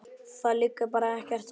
Það liggur bara ekkert á.